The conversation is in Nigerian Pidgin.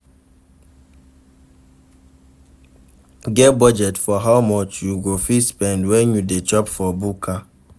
Get budget for how much you go fit spend when you dey chop for bukka